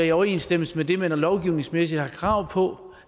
i overensstemmelse med det man lovgivningsmæssigt har krav på